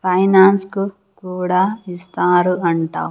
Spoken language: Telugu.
ఫైనాన్స్ కు కూడా ఇస్తారు అంట.